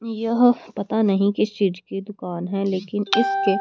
यह पता नहीं किस चीज की दुकान है लेकिन इसके--